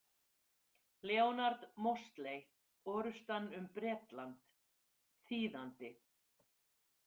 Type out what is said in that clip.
Leonard Mosley, Orrustan um Bretland, þýðandi